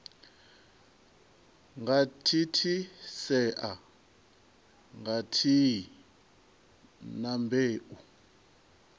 nga thithisea khathihi na mbeu